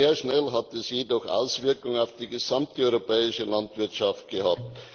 Sehr schnell hat es jedoch Auswirkungen auf die gesamte europäische Landwirtschaft gehabt.